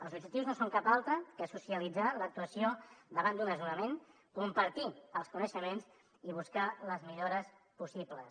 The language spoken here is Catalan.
els objectius no són cap altre que socialitzar l’actuació davant d’un desnonament compartir els coneixements i buscar les millores possibles